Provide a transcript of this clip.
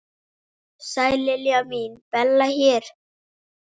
Sæl Lilla mín, Bella hérna.